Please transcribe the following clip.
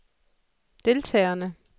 deltagerne